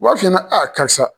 U b'a f'i ɲana karisa